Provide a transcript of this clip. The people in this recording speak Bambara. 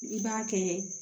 I b'a kɛ